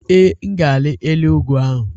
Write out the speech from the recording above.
Ee, m ga-arị elu ugwu ahụ.